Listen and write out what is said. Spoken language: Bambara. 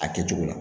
A kɛcogo la